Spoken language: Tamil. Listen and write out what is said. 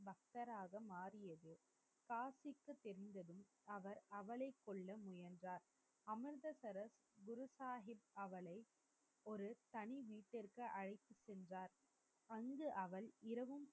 புத்தராக மாறியதும் காசிக்கு சென்றதும், அவர் அவளைக் கொல்ல முயன்றார். அமிர்தசரஸ் குரு சாகிப் அவளை ஒரு தனி வீட்டிற்கு அழைத்துச் சென்றார். அங்கு அவள் இரவும்